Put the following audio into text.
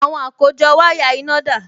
Àwọn àkójọ wáyà iná dà?